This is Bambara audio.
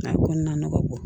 A kɔnɔna na ne ka bɔ